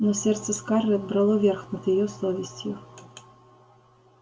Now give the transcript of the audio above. но сердце скарлетт брало верх над её совестью